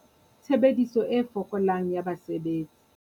Tshebediso e fokolang ya basebetsi.